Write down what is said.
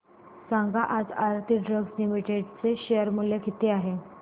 सांगा आज Aarti drugs limited चे शेअर मूल्य किती आहे